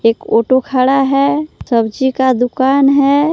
एक ऑटो खड़ा है सब्जी का दुकान है।